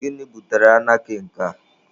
Gịnị butere anarkị nke a?